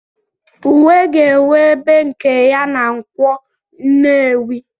Uwe ga-enwe ebe nke ya na Nkwo nnewi.